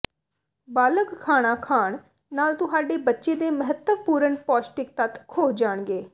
ਬਾਲਗ਼ ਖਾਣਾ ਖਾਣ ਨਾਲ ਤੁਹਾਡੇ ਬੱਚੇ ਦੇ ਮਹੱਤਵਪੂਰਣ ਪੌਸ਼ਟਿਕ ਤੱਤ ਖੋਹ ਜਾਣਗੇ